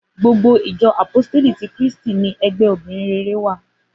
Gbogbo ìjọ àpóstélì tí Kírísítì ní ẹgbẹ́ obìrin rere wà